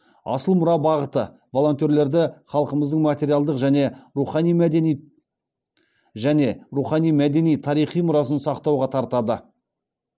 асыл мұра бағыты волонтерлерді халқымыздың материалдық және рухани мәдени тарихи мұрасын сақтауға тартады